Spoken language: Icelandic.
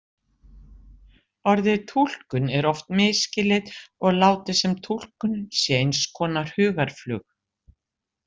Orðið túlkun er oft misskilið og látið sem túlkun sé eins konar hugarflug.